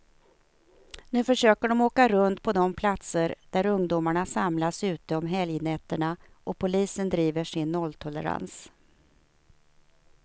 Nu försöker de åka runt på de platser där ungdomarna samlas ute om helgnätterna, och polisen driver sin nolltolerans.